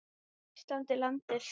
Ísland er landið.